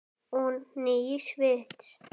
Og nýs vits.